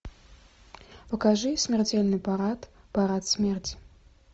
покажи смертельный парад парад смерти